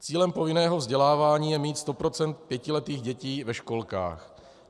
Cílem povinného vzdělávání je mít 100 % pětiletých dětí ve školkách.